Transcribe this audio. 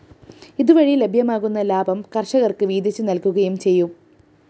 ഇതുവഴി ലഭ്യമാകുന്ന ലാഭം കര്‍ഷകര്‍ക്ക്‌ വീതിച്ച്‌ നല്‍കുകയും ചെയ്യും